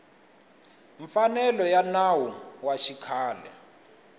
mfanelo ya nawu wa xikhale